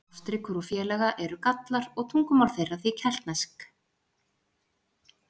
Ástríkur og félaga eru Gallar og tungumál þeirra því keltneskt.